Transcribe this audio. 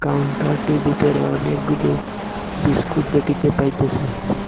কাউন্টারটি বিতরে অনেকগুলো বিস্কুট দেকিতে পাইতেসি।